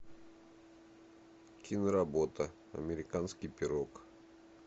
киноработа американский пирог